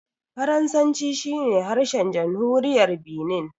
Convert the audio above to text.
Faransanci shi ne harshen jamhuriyar Binin.